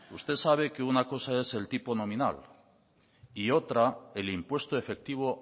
usted sabe que una cosa es el tipo nominal y otra el impuesto efectivo